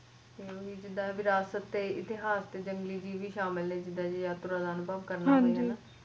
ਜੀਦਾ ਵੀ ਰਾਤ ਨੂੰ ਇਤਿਹਾਸ ਵਿਚ ਜੰਗਲੀ ਜੀਵ ਵੀ ਮੌਜੂਦ ਨੇ ਜੀਦਾ ਜੇ ਯਾਤਰਾ ਦਾ ਅਨੁਭਵ ਕਰਨਾ ਹੋਵੇ